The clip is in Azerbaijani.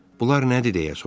Bunlar nədir, deyə soruşdu.